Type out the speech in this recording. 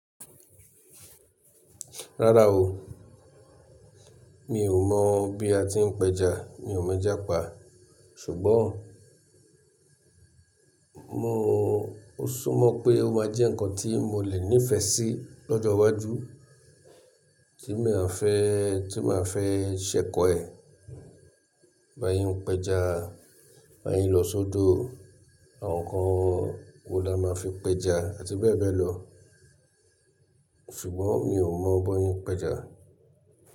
Rárá o, mi ò mọ̀ bí a ti ń pẹja, mi ò mọ ejá pa. Ṣùgbọ́n mo, o súnmọ́ pé ó máa jẹ́ nǹkan tí mo lè nífẹ̀ẹ́ sí lọ́jọ́ iwájú tí màá fẹ́, tí màá fẹ́ ṣẹ̀kọ́ ẹ̀. Bí a yín ń pẹja, bí a yín ń lọ sọ́dọ̀, àwọn nǹkan wo la máa ń fi pẹja àti bẹ́ẹ̀ bẹ́ẹ̀ lọ. Ṣùgbọ́n mi ò mọ̀ bó yín ń pẹja.